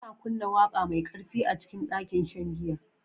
Ana kunna waƙa mai ƙarfi a cikin ɗakin shan giya